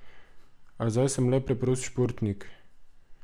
A zdaj sem le preprost športnik.